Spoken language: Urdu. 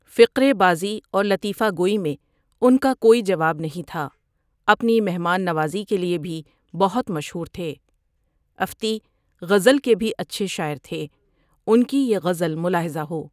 فقری بازی اور لطیفہ گوئی میں ان کا کوئی جواب نہیں تھا اپنی مہمان نوازی کے لیے بھی بہت مشہور تھے افتی غزل کے بھی اچھے شاعر تھے ان کی یہ غزل ملاخطہ ہو۔